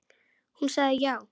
Hún sagði já.